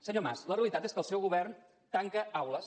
senyor mas la realitat és que el seu govern tanca aules